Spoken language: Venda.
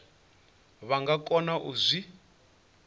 vha nga kona u zwi